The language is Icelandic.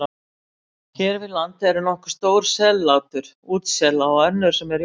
Hér við land eru nokkur stór sellátur útsela og önnur sem eru í vexti.